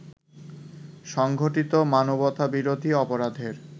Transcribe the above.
সংঘটিত মানবতাবিরোধী অপরাধের